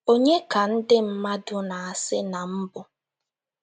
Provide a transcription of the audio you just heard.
“ Ònye ka ndị mmadụ na - asị na m bụ? ”